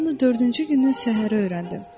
Mən bunu dördüncü günün səhəri öyrəndim.